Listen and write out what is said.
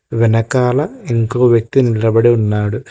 వెనకాల ఇంకో వ్యక్తి నిలబడి ఉన్నాడు.